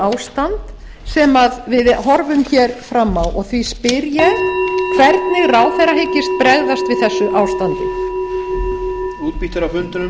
ástand sem við horfum fram á og því spyr ég hvernig ráðherra hyggist bregðast við þessu ástandi